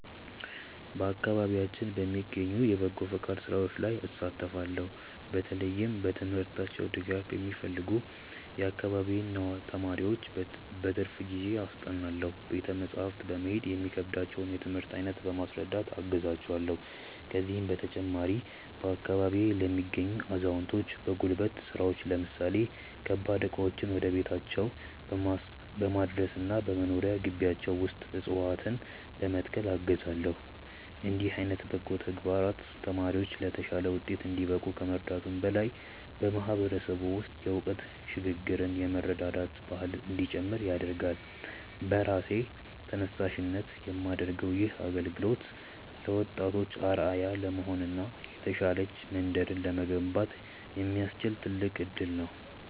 በአካባቢያችን በሚገኙ የበጎ ፈቃድ ሥራዎች ላይ እሳተፋለው። በተለይም በትምህርታቸው ድጋፍ የሚፈልጉ የአካባቢዬን ተማሪዎች በትርፍ ጊዜዬ አስጠናለው። ቤተ መጻሕፍት በመሄድ የሚከብዳቸውን የትምህርት አይነት በማስረዳት አግዛቸዋለው። ከዚህም በተጨማሪ፣ በአካባቢዬ ለሚገኙ አዛውንቶች በጉልበት ሥራዎች ለምሳሌ ከባድ ዕቃዎችን ወደ ቤታቸው በማድረስና በመኖሪያ ግቢያቸው ውስጥ ዕፅዋትነ በመትከል አግዛለው። እንዲህ ዓይነት በጎ ተግባራት ተማሪዎች ለተሻለ ውጤት እንዲበቁ ከመርዳቱም በላይ፣ በማህበረሰቡ ውስጥ የእውቀት ሽግ ግርና የመረዳዳት ባህል እንዲጨምር ያደርጋል። በራሴ ተነሳሽነት የማደርገው ይህ አገልግሎት ለወጣቶች አርአያ ለመሆንና የተሻለች መንደርን ለመገንባት የሚያስችል ትልቅ እድል ነው።